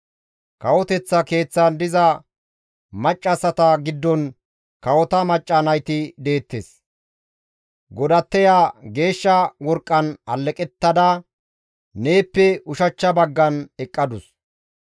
Kawoteththa keeththan diza maccassata giddon kawota macca nayti deettes; godatteya geeshsha worqqan alleqettada neeppe ushachcha baggan eqqadus.